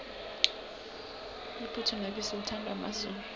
iphuthu nebisi lithandwa mazulu